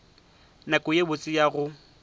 nako ye botse ya go